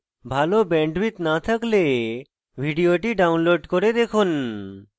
ভাল bandwidth না থাকলে ভিডিওটি download করে দেখুন